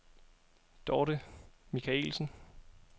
Dorte Michaelsen